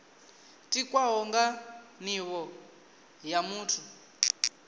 tikwaho nga nivho ya muthu